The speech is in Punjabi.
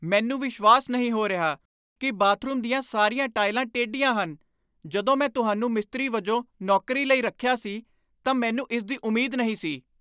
ਮੈਨੂੰ ਵਿਸ਼ਵਾਸ ਨਹੀਂ ਹੋ ਰਿਹਾ ਕਿ ਬਾਥਰੂਮ ਦੀਆਂ ਸਾਰੀਆਂ ਟਾਇਲਾਂ ਟੇਢੀਆਂ ਹਨ! ਜਦੋਂ ਮੈਂ ਤੁਹਾਨੂੰ ਮਿਸਤਰੀ ਵਜੋਂ ਨੌਕਰੀ ਲਈ ਰੱਖਿਆ ਸੀ ਤਾਂ ਮੈਨੂੰ ਇਸ ਦੀ ਉਮੀਦ ਨਹੀਂ ਸੀ।